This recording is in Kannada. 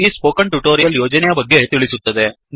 ಇದು ಈ ಸ್ಪೋಕನ್ ಟ್ಯುಟೋರಿಯಲ್ ಯೋಜನೆಯ ಬಗ್ಗೆ ತಿಳಿಸುತ್ತದೆ